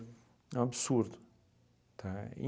É um absurdo, tá?